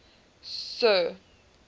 sir